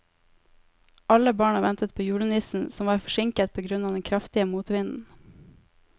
Alle barna ventet på julenissen, som var forsinket på grunn av den kraftige motvinden.